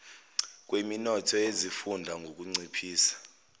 kweminotho yezifunda ngukunciphisa